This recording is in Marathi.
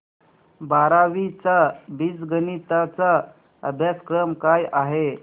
बारावी चा बीजगणिता चा अभ्यासक्रम काय आहे